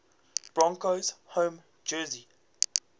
broncos home jersey